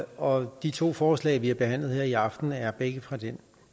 og de to forslag vi har behandlet her i aften er begge fra den